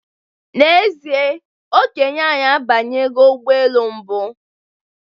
N'ezie, Okenye anyi abanyego ụgbọelu mbụ